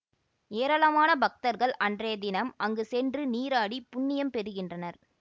ஏராளமான பக்தர்கள் அன்றைய தினம் அங்கு சென்று நீராடி புண்ணியம் பெறுகின்றனர்